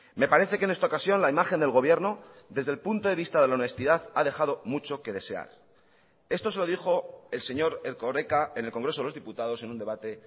me parece que en esta ocasión la imagen del gobierno desde el punto de vista de la honestidad ha dejado mucho que desear esto se lo dijo el señor erkoreka en el congreso de los diputados en un debate